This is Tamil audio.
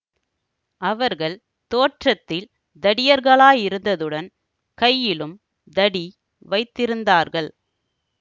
அவர்கள் தோற்றத்தில் தடியர்களாயிருந்ததுடன் கையிலும் தடி வைத்திருந்தார்கள்